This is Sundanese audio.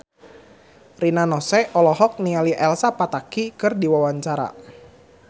Rina Nose olohok ningali Elsa Pataky keur diwawancara